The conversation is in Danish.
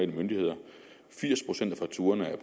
myndigheder firs procent af fakturaerne er